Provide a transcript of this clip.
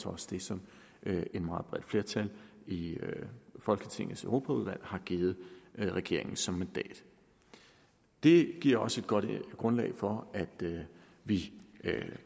også det som et meget bredt flertal i folketingets europaudvalg har givet regeringen som mandat det giver os et godt grundlag for at vi